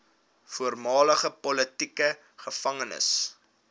voormalige politieke gevangenes